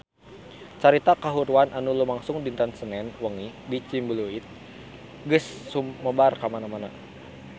Carita kahuruan anu lumangsung dinten Senen wengi di Ciumbuleuit geus sumebar kamana-mana